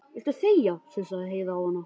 Viltu þegja, sussaði Heiða á hana.